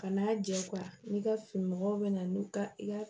Kan'a jɛ n'i ka fini mɔgɔw bɛ na n'u ka